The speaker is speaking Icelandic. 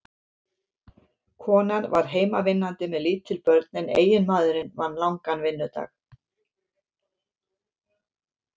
Konan var heimavinnandi með lítil börn en eiginmaðurinn vann langan vinnudag.